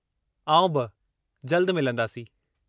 आउं बि, जल्दु मिलंदासीं!